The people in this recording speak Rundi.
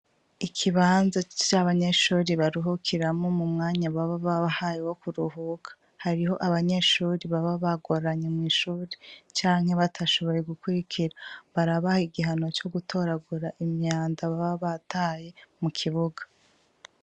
Ikibanza cy'abanyeshuri baruhukiramo mu mwanya baba babahaye wo kuruhuka hariho abanyeshuri baba bagoranye mw'ishuri canke batashoboye gukurikira barabaha igihano co gutoragura imyanda baba bataye mu kibuga.